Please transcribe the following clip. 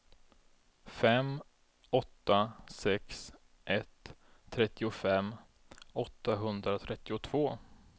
fem åtta sex ett trettiofem åttahundratrettiotvå